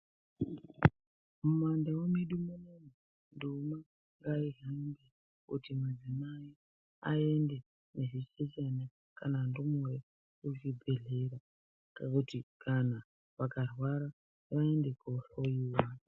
Mumandau medu munomu ndumwa ngaihambe kuti madzimai aende nezvichechana kana ndumure kuzvibhedhlera kana kuti vakarwara vaende koohloyiwa.